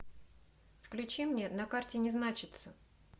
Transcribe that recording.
включи мне на карте не значится